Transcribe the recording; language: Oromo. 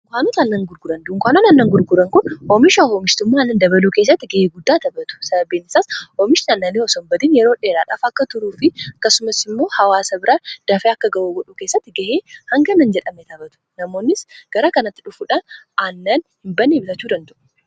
dunkaanoota aannan gurguran dunkaanoota aannan gurguran kun oomisha oomishtummaa aannan dabaluu keessatti ga'ee guddaa taphatu sababiinisaas oomishtonno aananii osomisha isaai yeroo dheeraadhaf akka turuu fi akkasumas immoo hawaasa biraa dafee akka ga'uu godhuu kessatti ga'ee hanga nan jedhame taphatu namoonnis gara kanatti dhufuudhaan aannan hin bannee bitachuu danda'u.